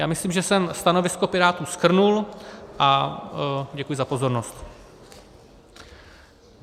Já myslím, že jsem stanovisko Pirátů shrnul, a děkuji za pozornost.